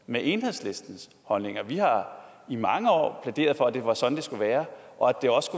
med enhedslistens holdninger vi har i mange år plæderet for at det var sådan det skulle være og at det også